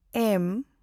ᱮᱢ